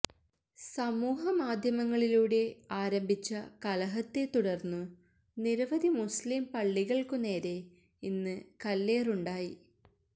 സമൂഹ മാധ്യമങ്ങളിലൂടെ ആരംഭിച്ച കലഹത്തെത്തുടര്ന്നു നിരവധി മുസ്ലിം പള്ളികള്ക്കുനേരെ ഇന്ന് കല്ലേറുണ്ടായി